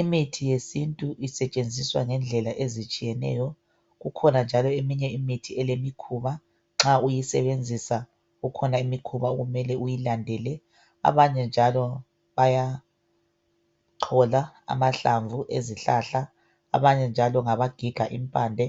Imithi yesintu isetshenziswa ngendlela ezitshiyeneyo kukhona njalo imithi elemikhuna nxa uyisebenzisa kukhona imikhuba okumele uyilandele abanye njalo bayachola amahlamvu ezihlahla abanye njalo ngabagiga impande